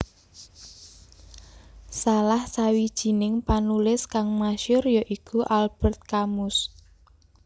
Salah sawijining panulis kang masyur ya iku Albert Camus